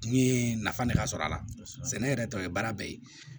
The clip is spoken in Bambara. N ye nafa ne ka sɔrɔ a la sɛnɛ yɛrɛ tɔ ye baara bɛɛ ye